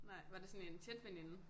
Nej var det sådan en tæt veninde?